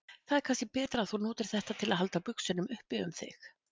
Það er kannski betra að þú notir þetta til að halda buxunum upp um þig.